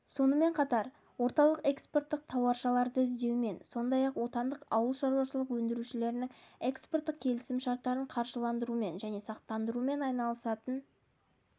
сонымен қатар орталық экспорттық тауашаларды іздеумен сондай-ақ отандық ауылшарашылық өндірушілерінің экспорттық келісім-шарттарын қаржыландырумен және сақтандырумен айналысатын